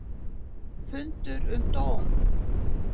Fundur um dóm